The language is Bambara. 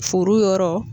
Foro yɔrɔ